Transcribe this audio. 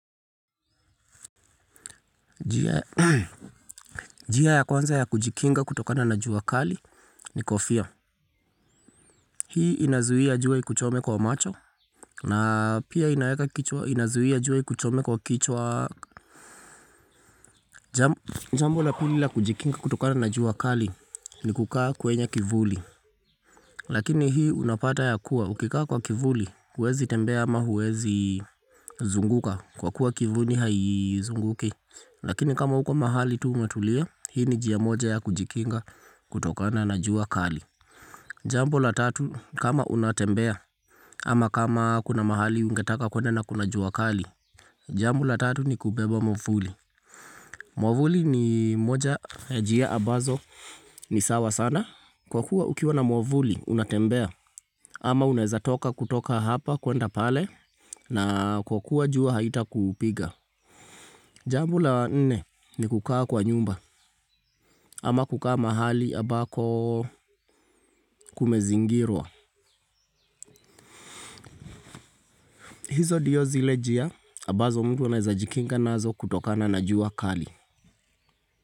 Njia ya kwanza ya kujikinga kutokana na jua kali ni kofia. Hii inazuia jua ikuchome kwa macho na pia inazuia jua ikuchome kwa kichwa jambo la pili la kujikinga kutokana na jua kali ni kukaa kwenye kivuli. Lakini hii unapata yakuwa, ukikaa kwa kivuli, huwezi tembea ama huwezi zunguka kwa kuwa kivuli haizunguki. Lakini kama uko mahali tu umetulia, hii ni njia moja ya kujikinga kutokana na jua kali. Jambo la tatu kama unatembea ama kama kuna mahali ungetaka kwenda na kuna jua kali. Jamb la tatu ni kubeba mwavuli. Mwavuli ni moja ya njia abazo ni sawa sana. Kwa kuwa ukiwa na mwavuli unatembea ama unaeza toka kutoka hapa kwenda pale na kwa kuwa jua haitakupiga. Jambl la nne ni kukaa kwa nyumba ama kukaa mahali abako kumezingirwa. Hizo dio zile jia abazo mtu anaezajikinga nazo kutokana na jua kali.